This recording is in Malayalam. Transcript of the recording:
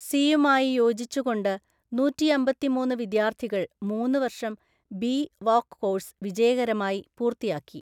സിയുമായി യോജിച്ചുകൊണ്ട് നൂറ്റിയമ്പത്തിമൂന്നു വിദ്യാർത്ഥികള്‍ മൂന്ന് വര്‍ഷം ബി വോക്ക് കോഴസ് വിജയകരമായി പൂര്‍ത്തിയാക്കി.